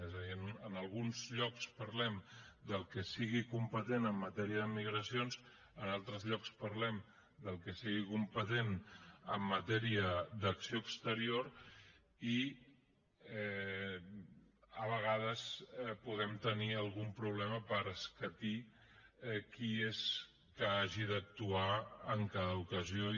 és a dir en alguns llocs parlem del que sigui competent en matèria de migracions en altres llocs parlem del que sigui competent en matèria d’acció exterior i a vegades podem tenir algun problema per escatir qui és que hagi d’actuar en cada ocasió